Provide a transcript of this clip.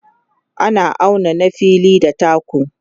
ana auna na fili da taku